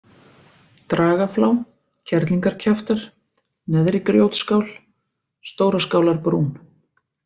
Dragaflá, Kerlingarkjaftar, Neðri-Grjótskál, Stóraskálarbrún